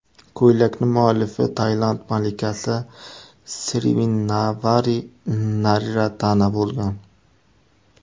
Ko‘ylakning muallifi Tailand malikasi Sirivinnavari Nariratana bo‘lgan.